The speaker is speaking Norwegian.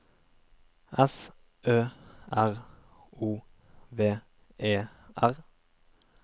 S Ø R O V E R